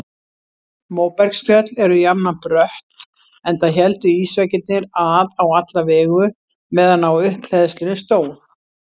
Móbergsfjöll eru jafnan brött enda héldu ísveggirnir að á alla vegu meðan á upphleðslunni stóð.